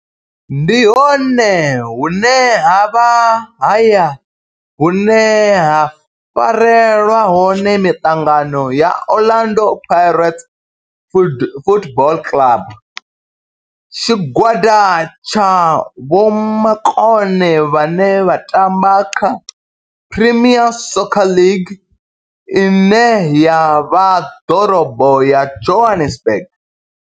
Ndi hone hune havha haya hune ha farelwa hone miṱangano ya Orlando Pirates Football Club. Tshigwada tsha vhomakone vhane vha tamba kha Premier Soccer League ine ya vha ḓorobo ya Johannesburg.